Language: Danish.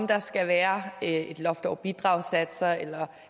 der skal være et loft over bidragssatser eller